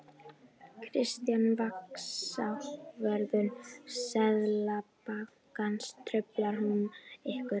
Kristján: Vaxtaákvörðun Seðlabankans, truflar hún ykkur?